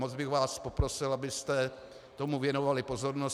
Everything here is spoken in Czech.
Moc bych vás poprosil, abyste tomu věnovali pozornost.